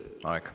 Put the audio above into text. Aeg!